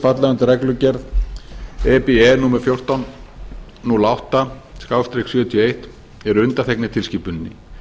falla undir reglugerð e b e númer fjórtán hundruð og átta sjötíu og eitt eru undanþegnir tilskipuninni